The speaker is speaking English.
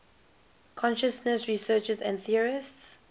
consciousness researchers and theorists